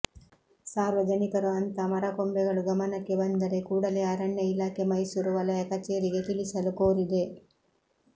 ಸಾರ್ವಜನಿಕರು ಅಂಥ ಮರ ಕೊಂಬೆಗಳು ಗಮನಕ್ಕೆ ಬಂದರೆ ಕೂಡಲೇ ಅರಣ್ಯ ಇಲಾಖೆ ಮೈಸೂರು ವಲಯ ಕಚೇರಿಗೆ ತಿಳಿಸಲು ಕೋರಿದೆ